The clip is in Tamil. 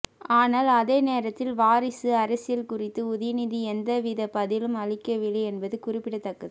ஆனால் அதே நேரத்தில் வாரிசு அரசியல் குறித்து உதயநிதி எந்தவித பதிலும் அளிக்கவில்லை என்பது குறிப்பிடத்தக்கது